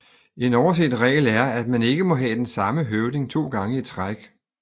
En overset regel er at man ikke må have den samme høvding 2 gange i træk